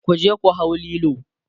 kuje ku hau Lilo!